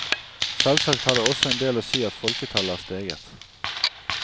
Selvsagt har det også hatt en del å si at folketallet er steget.